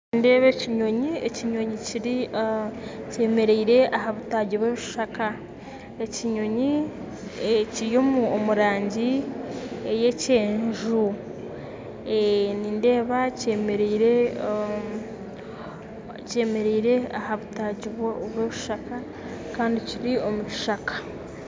Nindeeba ekinyonyi, ekinyonyi kyemeriire aha butagi bw'ekishaka. Ekinyonyi kiri omu rangi eya kyenju. Nindeeba kyemeriire aha butaagi bw'ebishaka kandi kiri omu kisaka